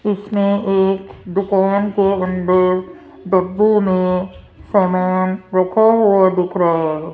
इसमें एक दुकान के अंदर डब्बों में सामान रखा हुआ दिख रहा है।